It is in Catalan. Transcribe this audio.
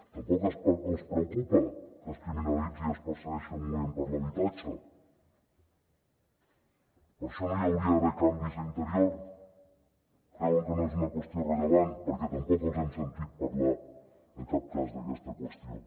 tampoc els preocupa que es criminalitzi i es persegueixi el moviment per l’habitatge per això no hi hauria d’haver canvis a interior creuen que no és una qüestió rellevant perquè tampoc els hem sentit parlar en cap cas d’aquesta qüestió